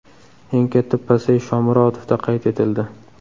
Eng katta pasayish Shomurodovda qayd etildi.